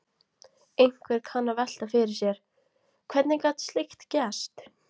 Einhver kann að velta fyrir sér: Hvernig gat slíkt gerst?